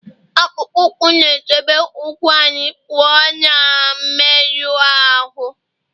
akpụkpọ ụkwụ na-echebe ụkwụ anyị pụọ na mmerụ ahụ